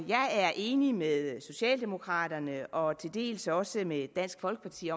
er enig med socialdemokraterne og til dels også med dansk folkeparti